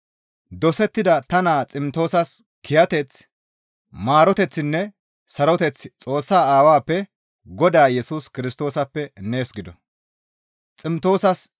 dosettida ta naa Ximtoosas kiyateththi, maaroteththinne saroteththi Xoossaa Aawappe Godaa Yesus Kirstoosappe nees gido.